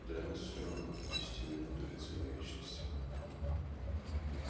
для нас все равно десяти минут или целой вечности